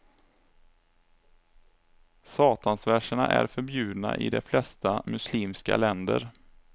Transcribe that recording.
Satansverserna är förbjudna i de flesta muslimska länder.